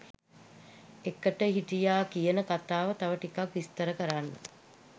එකට හිටියා කියන කතාව තව ටිකක් විස්තර කරන්න?